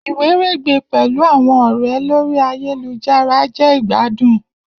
Iweregbe pẹlu awọn ọrẹ lori ayelujara jẹ igbadun.